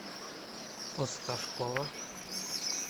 осташкова